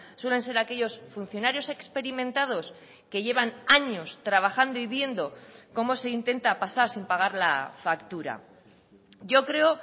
suelen ser aquellos funcionarios experimentados que llevan años trabajando y viendo cómo se intenta pasar sin pagar la factura yo creo